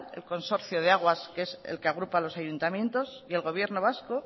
el consorcio de aguas que es el que agrupa los ayuntamientos y el gobierno vasco